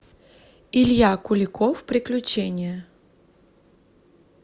илья куликов приключения